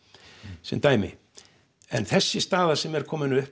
sem dæmi en þessi staða sem er komin upp